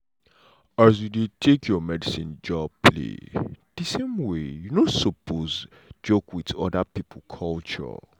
as you no dey take your medicine job play de same way you no sopose joke wit oda pipo culture.